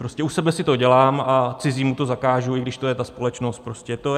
Prostě u sebe si to dělám a cizímu to zakážu, i když to je ta společnost prostě.